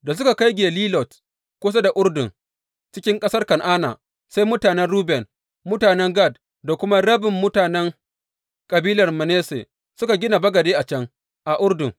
Da suka kai Gelilot kusa da Urdun cikin ƙasar Kan’ana, sai mutanen Ruben, mutanen Gad da kuma rabin mutanen kabilar Manasse suka gina bagade a can, a Urdun.